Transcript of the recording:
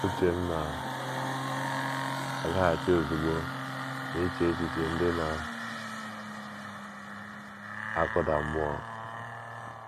Uche m na - agaghachi ozugbo n’iche echiche ndị na -- akụda mmụọ.